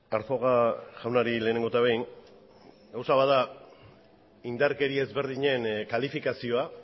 arzuaga jaunari lehenengo eta behin gauza bat da indarkeri ezberdinen kalifikazioa